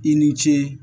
I ni ce